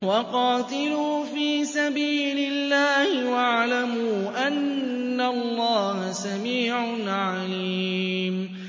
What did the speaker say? وَقَاتِلُوا فِي سَبِيلِ اللَّهِ وَاعْلَمُوا أَنَّ اللَّهَ سَمِيعٌ عَلِيمٌ